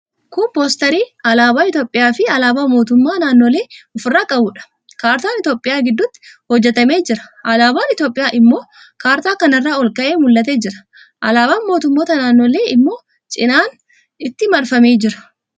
Kun 'poosterii' alaabaa Itiyoophiyaafi alaabaa mootummoota naannolee ofirraa qabuudha. Kaartaan Itiyoophiyaa gidduutti hojjetamee jira. Alaabaan Itiyoophiyaa immoo kaartaa kana irraan ol ka'ee mul'atee jira. Alaabaan mootummoota naannolee immoo cinaan itti marfamee jira.